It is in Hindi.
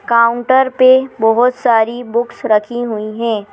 काउंटर पे बहोत सारी बुक्स रखी हुई है।